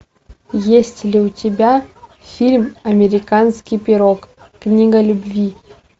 есть ли у тебя фильм американский пирог книга любви